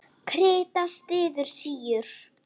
Krita styður síur.